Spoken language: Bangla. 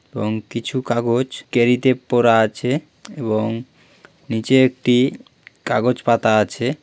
এবং কিছু কাগজ ক্যারি -তে পড়া আছে এবং নিচে একটি কাগজ পাতা আছে।